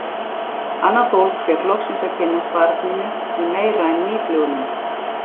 Annað fólk fékk loksins að kynnast barninu í meira en mýflugumynd.